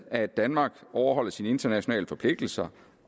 at danmark overholder sine internationale forpligtelser